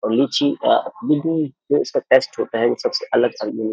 और लीछी जो इसका टेस्ट होता है वो सबसे अलग-अलग --